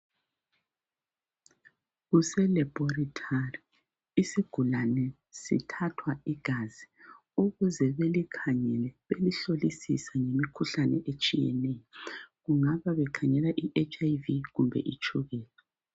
Kuse laboratory. Isigulane sithathwa igazi ukuze belikhangele belihlolisise ngemikhuhlane etshiyeneyo. Kungabe bekhangela i-HIV kumbe itshukela.